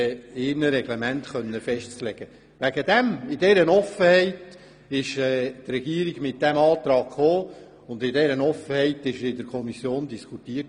In dieser Offenheit formulierte die Regierung ihren Antrag, und in dieser Offenheit wurde er in der Kommission diskutiert.